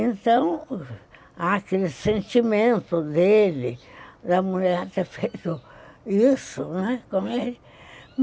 Então, há aquele sentimento dele, da mulher ter feito isso, né?